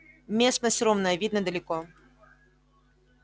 местность ровная видно далеко